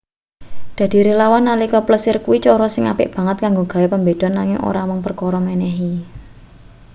dadi relawan nalika plesir kuwi cara sing apik banget kanggo gawe pambeda nanging ora mung perkara menehi